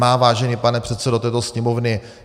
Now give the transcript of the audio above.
Má, vážený pane předsedo této Sněmovny.